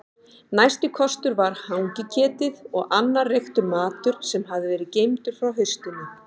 Næsti kostur var hangiketið og annar reyktur matur sem hafði verið geymdur frá haustinu.